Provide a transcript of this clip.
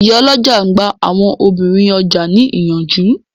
Ìyálọ́jà n gba àwọn obìnrin ọjà ní ìyànjú